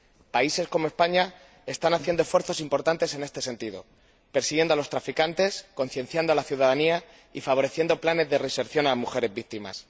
Países como España están haciendo esfuerzos importantes en este sentido, persiguiendo a los traficantes, concienciando a la ciudadanía y favoreciendo planes de reinserción de las mujeres víctimas.